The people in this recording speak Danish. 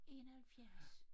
71